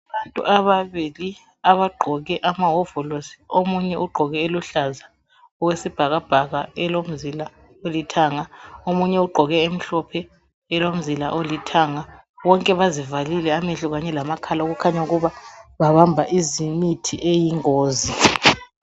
Abantu ababili abagqoke amahovolosi omunye ugqoke eluhlaza okwesibhakabhaka elomzila olithanga, omunye ugqoke emhlophe elomzila olithanga. Bonke bazivalile amehlo kanye lamakhala okukhanya ukuba babamba izimithi eyingozi.